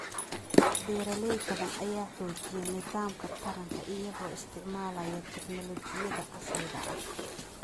Beeralay badan ayaa xoojiya nidaamka taranka iyagoo isticmaalaya tignoolajiyada casriga ah.